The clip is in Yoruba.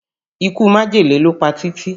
Ikú májèlé ló pa Títí